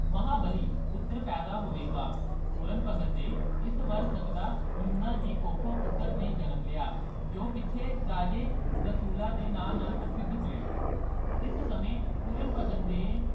ਮਹਾਬਲੀ ਪੁੱਤਰ ਪੈਦਾ ਹੋਵੇਗਾ ਪੂਰਨ ਭਗਤ ਦੇ ਇਸ ਵਰ ਸਦਕਾ ਲੂਣਾ ਦੀ ਕੁੱਖੋਂ ਪੁੱਤਰ ਨੇ ਜਨਮ ਲਿਆ ਜੋ ਪਿੱਛੇ ਰਾਜੇ ਰਸੂਲਾਂ ਦੇ ਨਾ ਨਾਲ ਪ੍ਰਸਿੱਧ ਹੋਇਆ ਇਸ ਸਮੇਂ ਪੂਰਨ ਭਗਤ ਦੇ